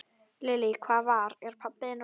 Lillý: Hvað var, er pabbi þinn orðinn núna?